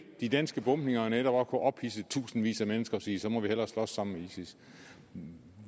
de danske bombninger netop kunne ophidse i tusindvis af mennesker til at sige så må vi hellere slås sammen med isis